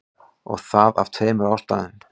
Og það af tveimur ástæðum.